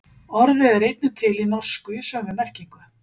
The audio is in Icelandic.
Orðið er einnig til í norsku í sömu merkingu.